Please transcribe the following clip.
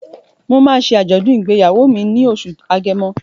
Mo máa ń ṣe àjọ̀dùn ìgbéyàwó mi ní oṣù Agẹmọ.